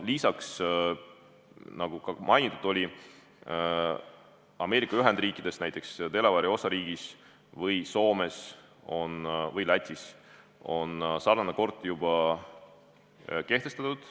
Nagu ka mainitud oli, Ameerika Ühendriikides näiteks Delaware'i osariigis, Soomes ja Lätis on sarnane kord juba kehtestatud.